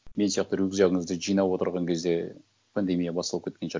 мен сияқты рюкзагіңізді жинап отырған кезде пандемия басталып кеткен шығар